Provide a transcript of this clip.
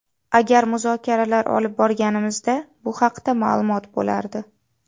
Agar muzokaralar olib borganimizda, bu haqda ma’lum bo‘lardi.